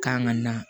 Kan ka na